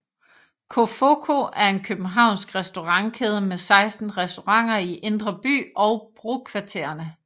Cofoco er en københavnsk restaurantkæde med 16 restauranter i Indre By og brokvartererne